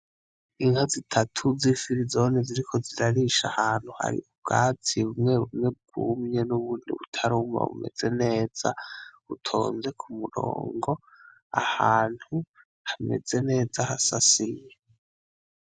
Inka zitatu z'i filizone ziri ko zirarisha ahantu hari ubwati bumwe bumwe bwumye n'ubundi butarumba bumeze neza utonze ku murongo ahantu hameze neza hasasiye.